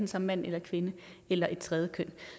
som enten mand kvinde eller et tredje køn